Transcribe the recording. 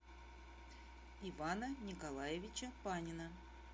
ивана николаевича панина